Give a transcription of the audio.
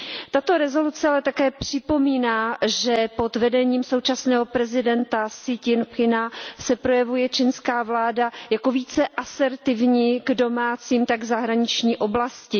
Tato zpráva ale také připomíná, že pod vedením současného prezidenta Si Ťin pchinga se projevuje čínská vláda jako více asertivní jak v domácí, tak v zahraniční oblasti.